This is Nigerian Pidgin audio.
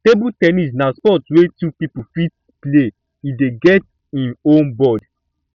table ten nis na sport wey two pipo fit play e dey get im own board